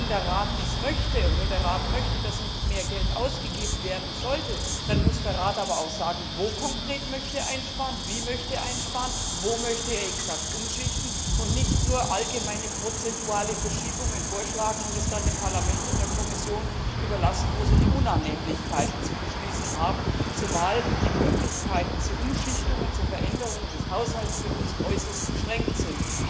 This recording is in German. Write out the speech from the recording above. Wenn der Rat dies möchte und wenn der Rat möchte, dass nicht mehr Geld ausgegeben werden soll, dann muss der Rat aber auch sagen, wo er konkret einsparen möchte, wie er einsparen möchte, wo genau er umschichten möchte, und nicht nur allgemeine prozentuale Verschiebungen vorschlagen und es dann dem Parlament und der Kommission überlassen, wo sie die Unannehmlichkeiten zu beschließen haben, zumal die Möglichkeiten zu Umschichtungen und zu Veränderungen des Haushalts für uns äußerst beschränkt sind.